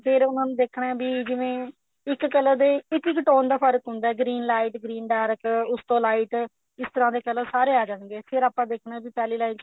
ਫੇਰ ਉਹਨਾ ਨੂੰ ਦੇਖਣਾ ਵੀ ਜਿਵੇਂ ਇੱਕ color ਦੇ ਇੱਕ ਇੱਕ tone ਦਾ ਫਰਕ਼ ਹੁੰਦਾ green light green dark ਉਸ ਤੋਂ light ਇਸ ਤਰ੍ਹਾਂ ਦੇ color ਸਾਰੇ ਆ ਜਾਣਗੇ ਫੇਰ ਆਪਾਂ ਦੇਖਣਾ ਵੀ ਪਹਿਲੀ line ਚ